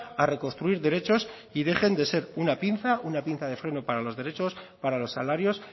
a reconstruir derechos y dejen de ser una pinza una pinza de freno para los derechos para los salarios